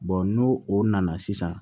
n'o o nana sisan